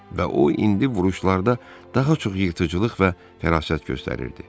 Və o indi vuruşlarda daha çox yırtıcılıq və fərasət göstərirdi.